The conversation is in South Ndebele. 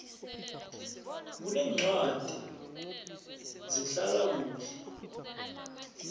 kuneencwadi zehlala kuhle